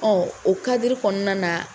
Ɔn, o kadiri kɔnɔna na